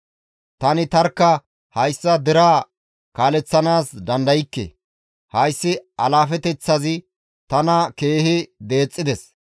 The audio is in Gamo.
Tani tarkka hayssa deraa kaaleththanaas dandaykke; hayssi alaafeteththazi tana keehi deexxides.